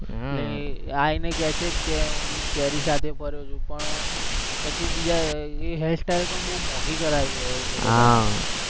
હમ આ એને કે છે હું કેરી સાથે ફરું છું પણ પછી ઈ hair style પણ બોવ મોંઘી કરાવી હોય હા